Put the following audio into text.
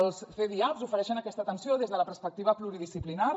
els cdiaps ofereixen aquesta atenció des de la perspectiva pluridisciplinària